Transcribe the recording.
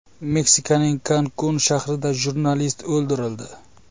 Meksikaning Kankun shahrida jurnalist o‘ldirildi.